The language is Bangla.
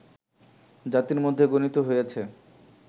জাতির মধ্যে গণিত হইয়াছে